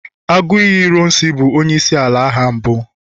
Aguiyi ironsi bu onye isi ala agha mbu